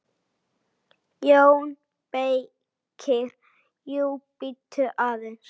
JÓN BEYKIR: Jú, bíddu aðeins!